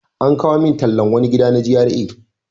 An kawo min tallan wani gida na GRA.